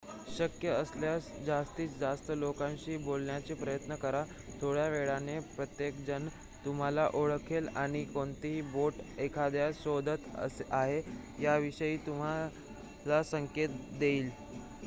शक्य असल्यास जास्तीत जास्त लोकांशी बोलण्याचा प्रयत्न करा थोड्या वेळाने प्रत्येकजण तुम्हाला ओळखेल आणि कोणती बोट एखाद्यास शोधत आहे याविषयी तुम्हाला संकेत देईल